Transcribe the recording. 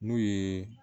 N'u ye